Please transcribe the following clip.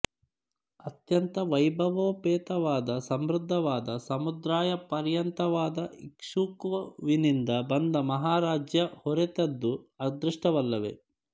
ಅತ್ಯಂತ ವೈಭವೋಪೇತವಾದ ಸಮೃದ್ಧವಾದ ಸಮುದ್ರಯಪರ್ಯಂತವಾದ ಇಕ್ಷ್ವಾಕುವಿನಿಂದ ಬಂದ ಮಹಾರಾಜ್ಯ ಹೊರೆತದ್ದು ಅದೃಷ್ಟವಲ್ಲವೇ